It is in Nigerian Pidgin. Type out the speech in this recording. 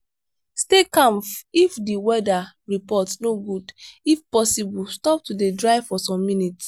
stay calm if di weather report no good if possible stop to dey drive for some minutes